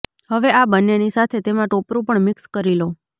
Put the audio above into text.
હવે આ બંનેની સાથે તેમાં ટોપરું પણ મિક્સ કરી લો